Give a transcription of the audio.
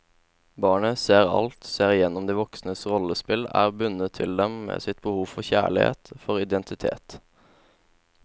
Barnet ser alt, ser igjennom de voksnes rollespill, er bundet til dem med sitt behov for kjærlighet, for identitet.